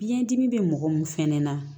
Biyɛn dimi bɛ mɔgɔ min fɛnɛ na